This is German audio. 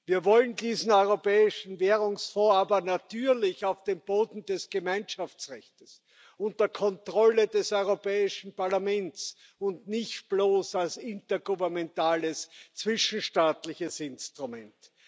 Wir wollen diesen Europäischen Währungsfonds aber natürlich auf dem Boden des Gemeinschaftsrechtes unter Kontrolle des Europäischen Parlaments und nicht bloß als intergouvernementales, zwischenstaatliches Instrument.